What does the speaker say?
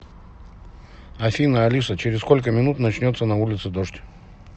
афина алиса через сколько минут начнется на улице дождь